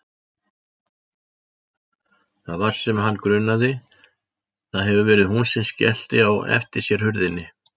Það var sem hann grunaði, það hefur verið hún sem skellti á eftir sér hurðinni.